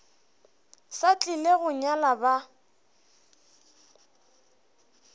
sa tlile go nyala ba